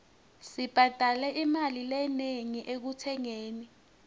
sibhadale imali lenengi ekutsengeni